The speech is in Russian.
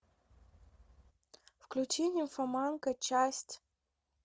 включи нимфоманка часть